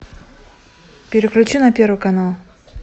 переключи на первый канал